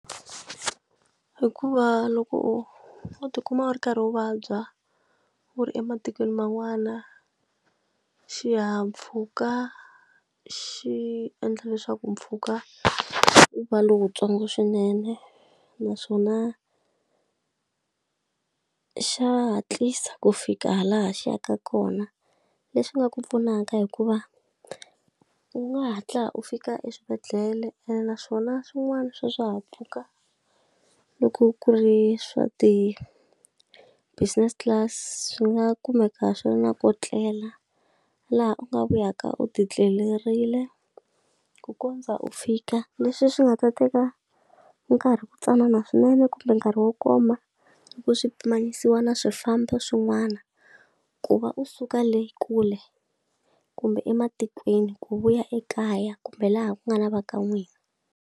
Hikuva loko u ti kuma u ri karhi u vabya u ri ematikweni man'wana, xihahampfhuka xi endla leswaku mpfhuka wu va lowuntsongo swinene. Naswona xa hatlisa ku fika laha xi yaka kona, leswi nga ku pfunaka hikuva u nga hatla u fika eswibedhlele ene naswona swin'wana swa swihahampfhuka loko ku ri swa ti business class swi nga kumeka swi ri na ko tlela. Laha u nga vuyaka u ti etlelerile ku kondza u fika. Leswi swi nga ta teka nkarhi wu ntsanana swinene kumbe nkarhi wo koma loko swi pimanisiwa na swifambo swin'wana, ku va u suka le kule kumbe ematikweni ku vuya ekaya kumbe laha ku nga na va ka n'wina.